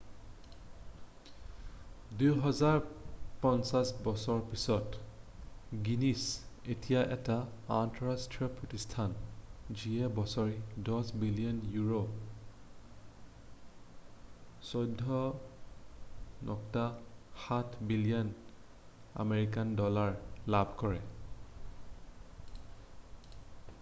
২৫০ বছৰ পিছত গিনিছ এতিয়া এটা আন্তঃৰাষ্ট্ৰীয় প্ৰতিষ্ঠান যিয়ে বছৰি ১০ বিলিয়ন ইউৰো $১৪.৭ বিলিয়ন আমেৰিকান ডলাৰ লাভ কৰে।